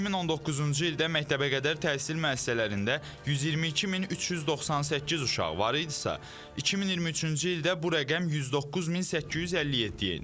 2019-cu ildə məktəbəqədər təhsil müəssisələrində 122398 uşaq var idisə, 2023-cü ildə bu rəqəm 109857-ə enib.